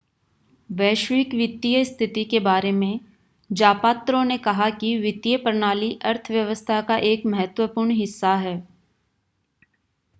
वैश्विक वित्तीय स्थिति के बारे में ज़ापात्रो ने कहा कि वित्तीय प्रणाली अर्थव्यवस्था का एक महत्वपूर्ण हिस्सा है